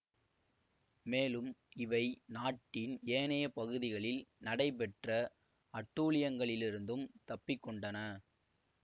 மேலும் இவை நாட்டின் ஏனைய பகுதிகளில் நடைபெற்ற அட்டூழியங்களிலிருந்தும் தப்பிக்கொண்டன